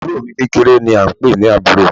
Àbúro mi kékeré ni a n pè ní Àbúro